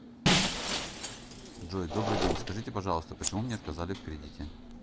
джой добрый день скажите пожалуйста почему мне отказали в кредите